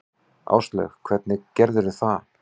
Áslaug: Hvernig gerðirðu það?